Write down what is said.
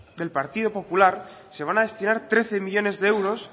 del partido popular se van a destinar trece millónes de euros